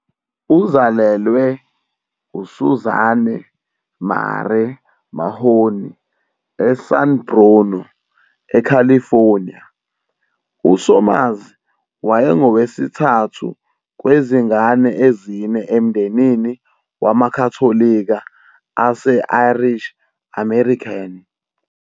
Uzalelwe uSuzanne Marie Mahoney eSan Bruno, eCalifornia, uSomers wayengowesithathu kwezingane ezine emndenini wamaKhatholika ase-Irish-American.